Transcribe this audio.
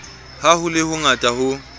ha ho le hongata ho